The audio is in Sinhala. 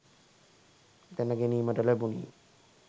දැන ගැනීමට ලැබුණි.